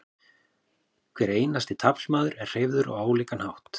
hver einasti taflmaður er hreyfður á ólíkan hátt